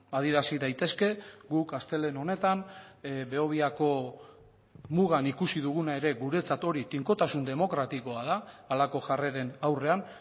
adierazi daitezke guk astelehen honetan behobiako mugan ikusi duguna ere guretzat hori tinkotasun demokratikoa da halako jarreren aurrean